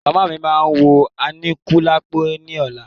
Màmá mí máa wo Aníkúlápò ní ọ̀la.